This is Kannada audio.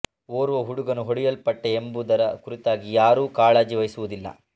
ಓರ್ವ ಹುಡುಗನು ಹೊಡೆಯಲ್ಪಟ್ಟ ಎಂಬುದರ ಕುರಿತಾಗಿ ಯಾರೂ ಕಾಳಜಿ ವಹಿಸುವುದಿಲ್ಲ